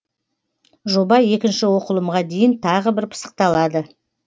жоба екінші оқылымға дейін тағы бір пысықталады